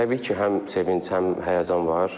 Təbii ki, həm sevinc, həm həyəcan var.